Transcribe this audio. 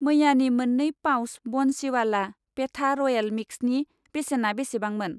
मैयानि मोननै पाउच बनसिवाला पेठा रयेल मिक्सनि बेसेना बेसेबांमोन?